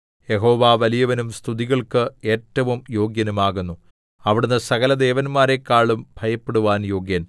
യഹോവ വലിയവനും സ്തുതികൾക്ക് ഏറ്റവും യോഗ്യനും ആകുന്നു അവിടുന്ന് സകലദേവന്മാരെക്കാളും ഭയപ്പെടുവാൻ യോഗ്യൻ